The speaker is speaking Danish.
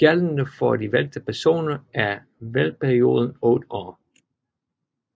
Gældende for de valgte personer er valgperioden 8 år